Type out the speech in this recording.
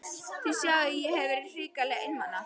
Þið sjáið að ég hef verið hrikalega einmana!